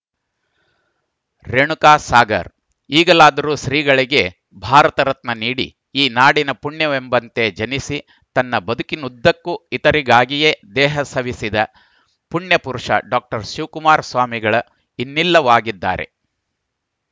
ರೇಣುಕಾ ಸಾಗರ್ ಈಗಲಾದರೂ ಶ್ರೀಗಳಿಗೆ ಭಾರತ ರತ್ನ ನೀಡಿ ಈ ನಾಡಿನ ಪುಣ್ಯವೆಂಬಂತೆ ಜನಿಸಿ ತನ್ನ ಬದುಕಿನುದ್ದಕ್ಕೂ ಇತರರಿಗಾಗಿಯೇ ದೇಹ ಸವೆಸಿದ ಪುಣ್ಯಪುರುಷ ಡಾಕ್ಟರ್ ಶಿವಕುಮಾರ ಸ್ವಾಮಿಗಳ ಇನ್ನಿಲ್ಲವಾಗಿದ್ದಾರೆ